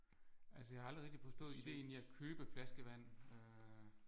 Altså jeg har aldrig rigtig forstået ideen i at købe flaskevand øh